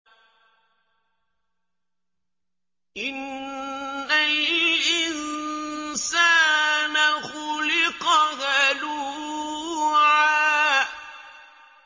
۞ إِنَّ الْإِنسَانَ خُلِقَ هَلُوعًا